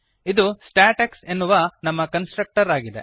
ಇದು ಸ್ಟಾಟೆಕ್ಸ್ ಎನ್ನುವ ನಮ್ಮ ಕನ್ಸ್ಟ್ರಕ್ಟರ್ ಆಗಿದೆ